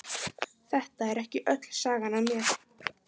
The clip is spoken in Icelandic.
Þetta er ekki öll sagan af mér.